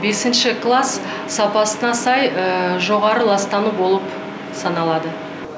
бесінші класс сапасына сай жоғары ластану болып саналады